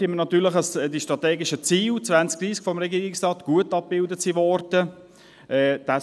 Es freut uns natürlich, dass die strategischen Ziele 2030 des Regierungsrates gut abgebildet wurden.